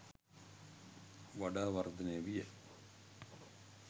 වඩා වර්ධනය විය.